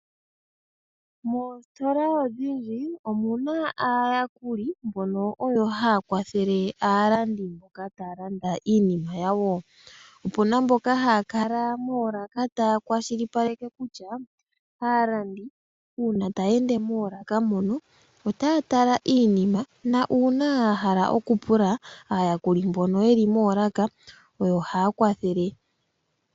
Moositola odhindji omuna aayakuli mboka haa kwathele aalandi mboka taalanda iinima yawo. Moolaka omuna aakwatheli mboka haa kwathele aalandi naashoka yahala okulanda.